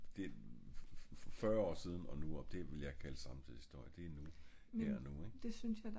det er fyrre år siden og nu og det ville jeg kalde samtidshistorie det er nu det er her og nu